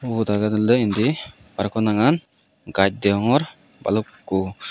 ota jadelloi indi araw ekko nangan gaz deongor balukko.